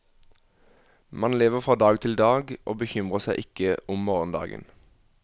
Man lever fra dag til dag og bekymrer seg ikke om morgendagen.